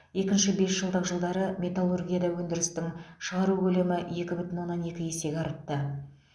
екінші бесжылдық жылдары металлургияда өндірістің шығару көлемі екі бүтін оннан екі есе артты